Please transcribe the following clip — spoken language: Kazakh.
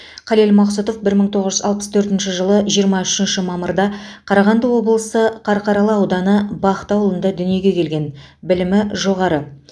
қалел мақсұтов бір мың тоғыз жүз алпыс төртінші жылы жиырма үшінші мамырда қарағанды облысы қарқаралы ауданы бақты ауылында дүниеге келген білімі жоғары